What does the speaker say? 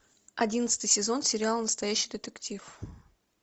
одиннадцатый сезон сериала настоящий детектив